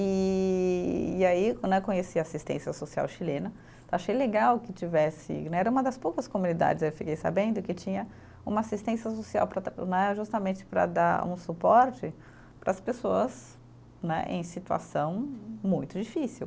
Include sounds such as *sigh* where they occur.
E e aí né, conheci a assistência social chilena, achei legal que tivesse né, era uma das poucas comunidades, aí eu fiquei sabendo, que tinha uma assistência social para estar *unintelligible* né, justamente para dar um suporte para as pessoas né em situação muito difícil.